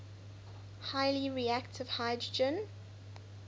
highly reactive hydrogen